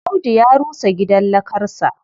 Audu ya rusa gidan lakarsa.